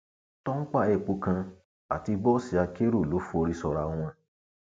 tọńpà epo kan àti bọọsì akérò ló forí sọra wọn